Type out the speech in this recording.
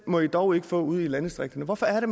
må de dog ikke få ude i landdistrikterne hvorfor er det